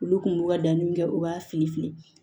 Olu kun b'u ka danniw kɛ u b'a fili fili